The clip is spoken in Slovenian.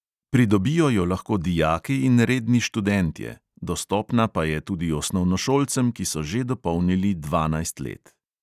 Pridobijo jo lahko dijaki in redni študentje, dostopna pa je tudi osnovnošolcem, ki so že dopolnili dvanajst let.